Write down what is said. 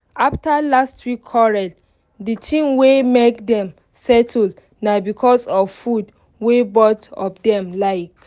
after last week quarrel the thing wey make dem settle na because of food wey both of dem like